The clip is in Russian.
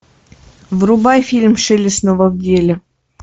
врубай фильм шелли снова в деле